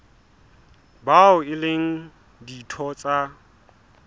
bao e leng ditho tsa